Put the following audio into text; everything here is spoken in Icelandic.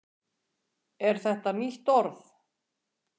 er þetta nýtt orð